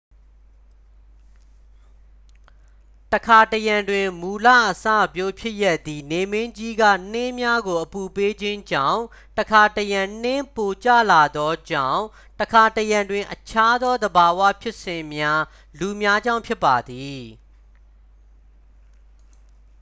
တစ်ခါတစ်ရံတွင် မူလအစပျိုးဖြစ်ရပ်သည် နေမင်းကြီးက နှင်းများကိုအပူပေးခြင်းကြောင့် တစ်ခါတစ်ရံနှင်းပိုကျလာသောကြောင့် တစ်ခါတစ်ရံတွင်အခြားသောသဘာဝဖြစ်စဉ်များ လူများကြောင့် ဖြစ်ပါသည်